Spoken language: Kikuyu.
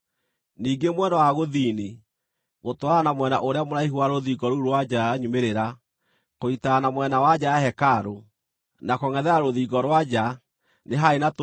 Ningĩ mwena wa gũthini, gũtwarana na mwena ũrĩa mũraihu wa rũthingo rũu rwa nja ya nyumĩrĩra, kũnyiitana na mwena wa nja ya hekarũ, na kũngʼethera rũthingo rwa nja, nĩ haarĩ na tũnyũmba